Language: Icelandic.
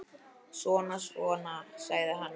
Svona, svona, sagði hann.